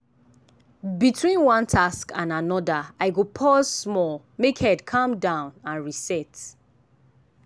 between one task and another i go pause small make head calm down and reset.